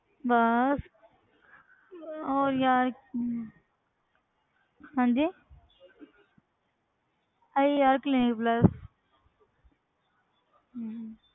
ਬਸ ਹੋਰ ਯਾਰ ਹਮ ਹਾਂਜੀ ਆਹੀ ਯਾਰ clinic plus ਹਮ